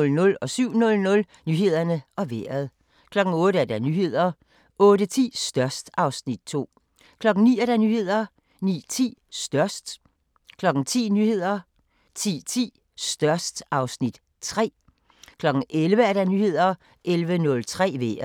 Nyhederne og Vejret 07:00: Nyhederne og Vejret 08:00: Nyhederne 08:10: Størst (Afs. 2) 09:00: Nyhederne 09:10: Størst 10:00: Nyhederne 10:10: Størst (Afs. 3) 11:00: Nyhederne 11:03: Vejret